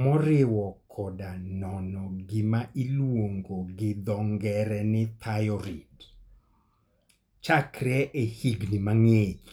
moriwo koda nono gima iluongo gi dho ng'ere ni thyroid chakre e higini mang'ich.